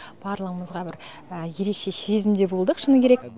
барлығымызға бір ерекше сезімде болдық шыны керек